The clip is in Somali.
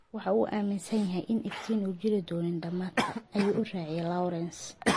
Waxa uu aaminsan yahay in iftiin uu jiri doono dhamaadka, ayuu raaciyay Laurens.